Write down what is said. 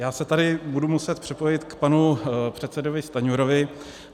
Já se tady budu muset připojit k panu předsedovi Stanjurovi.